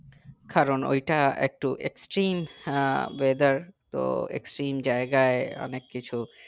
কারণ ঐটা একটু extreme weather তো extreme জায়গায় অনেক কিছু